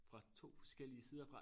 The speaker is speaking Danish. Fra 2 forskellige sider fra